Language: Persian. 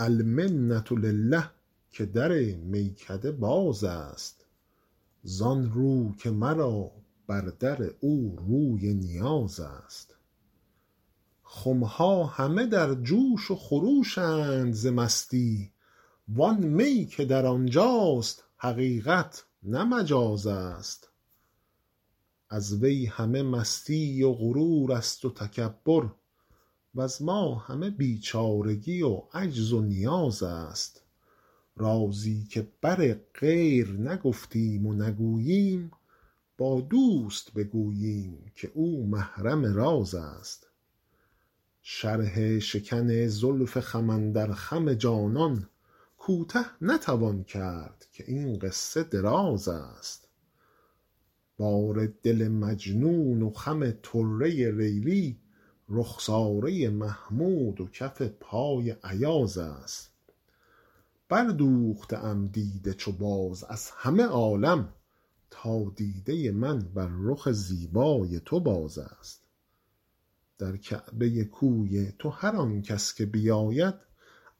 المنة لله که در میکده باز است زان رو که مرا بر در او روی نیاز است خم ها همه در جوش و خروش اند ز مستی وان می که در آن جاست حقیقت نه مجاز است از وی همه مستی و غرور است و تکبر وز ما همه بیچارگی و عجز و نیاز است رازی که بر غیر نگفتیم و نگوییم با دوست بگوییم که او محرم راز است شرح شکن زلف خم اندر خم جانان کوته نتوان کرد که این قصه دراز است بار دل مجنون و خم طره لیلی رخساره محمود و کف پای ایاز است بردوخته ام دیده چو باز از همه عالم تا دیده من بر رخ زیبای تو باز است در کعبه کوی تو هر آن کس که بیاید